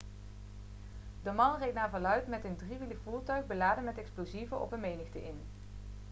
de man reed naar verluid met een driewielig voertuig beladen met explosieven op een menigte in